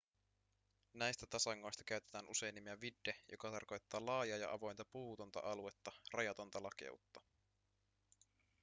näistä tasangoista käytetään usein nimeä vidde joka tarkoittaa laajaa ja avointa puutonta aluetta rajatonta lakeutta